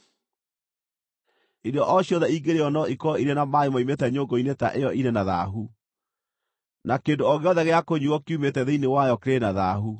Irio o ciothe ingĩrĩĩo no ikorwo irĩ na maaĩ moimĩte nyũngũ-inĩ ta ĩyo irĩ na thaahu, na kĩndũ o gĩothe gĩa kũnyuuo kiumĩte thĩinĩ wayo kĩrĩ na thaahu.